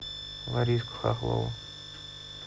лариску хохлову